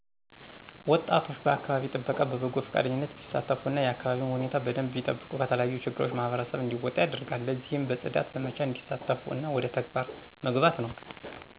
ወጣቶች በአከባቢ ጥበቃ በበጎ ፈቃደኝነት ቢሳተፉ እና የአከባቢውን ሁኔታ በደንብ ቢጠብቁ ከተለያዩ ችግሮች ማህበረሰብ እንዲወጣ ያደርጋል። ለዚህም በጽዳት ዘመቻ እንዲሳተፉ እና ወደ ተግባር መግባት ነው